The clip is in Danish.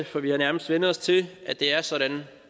for vi har nærmest vænnet os til at det er sådan